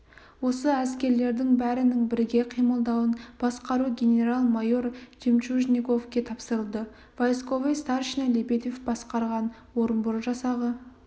осы әскерлердің бәрінің біріге қимылдауын басқару генерал-майор жемчужниковке тапсырылды войсковой старшина лебедев басқарған орынбор жасағы